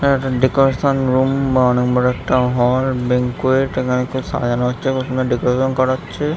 এটা একটা decoration room বা অনেক বড় একটা হল ব্যাংকোয়েট এখানে খুব সাজানো হচ্ছে অথবা ডেকোরেশন করা হচ্ছে।